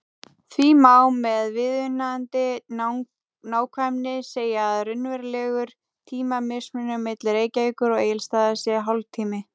Því má með viðunandi nákvæmni segja að raunverulegur tímamismunur milli Reykjavíkur og Egilsstaða sé hálftími.